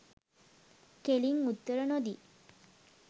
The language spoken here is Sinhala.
කෙලින් උත්තර නොදී